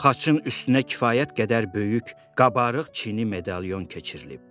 Xaçın üstünə kifayət qədər böyük qabarıq çini medalon keçirilib.